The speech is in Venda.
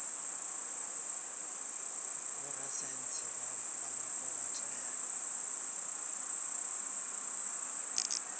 vhorasaintsi vha mupo vha tea